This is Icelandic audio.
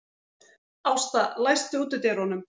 Ásta, læstu útidyrunum.